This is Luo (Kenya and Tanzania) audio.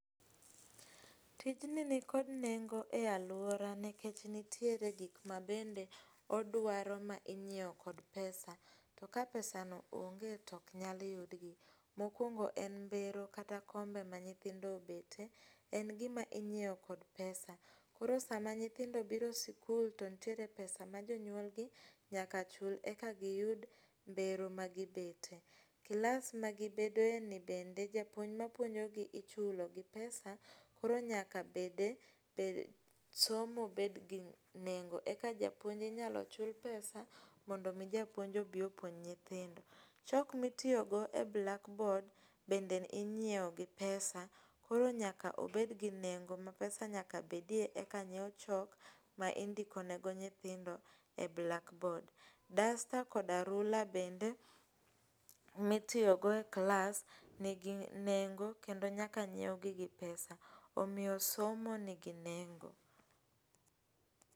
Tijni nitiere kod nengo e aluora nikech nitiere gik ma bende odwaro minyiewo kod [sc]pesa. To ka pesano onge to ok nyal yudgi. Mokuongo en mbero kata kombe ma nyithindo obetie, en gima inyiewo kod pesa. Koro sama nyithindo obiro sikul to nitiere pesa ma jonyuolgi nyaka chul eka giyud mbero magi betie. Kilas magibedoe ni bende japuonj ma puonjogi ichulo gi pesa, koro nyaka bede, somo bende nyaka bed gi nengo eka japuon inyalo chul pesa mondo mi japuonj obi opuonj nyithindo. Chok ma itiyo go e blakbod bende inyiewo gi pesa, koro nyaka obed gi nengo ma pesa nyaka bedie eka nyiew chok ma indikonego nyithindo e blakbod. Dasta koda rula bende mitiyo go e kilas bende nigi ngo kend nyakanyiewgi gi pesa. Omiyo somo nigi nengo.